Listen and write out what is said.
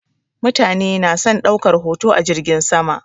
Mutane na son ɗaukar hoto a jirgin sama.